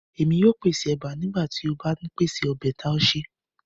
Émi o pese eba nigba ti o ba n pese ọbẹ taushe